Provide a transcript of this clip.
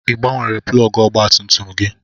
I gbanwere plọgụ ọgba tum tum gị?